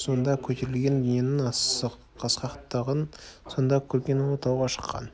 сонда көтерілген дүниенің асқақтығын сонда көрген ұлы тауға шыққан